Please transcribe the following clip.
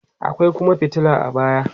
akwai Kuma fitila a baya